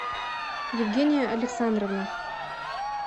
евгения александровна